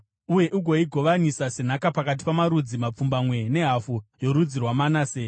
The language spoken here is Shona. uye ugoigovanisa senhaka pakati pamarudzi mapfumbamwe nehafu yorudzi rwaManase.”